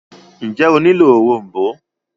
ǹjẹ́ o nílò òrom̀bó?